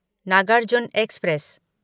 Nagarjuna express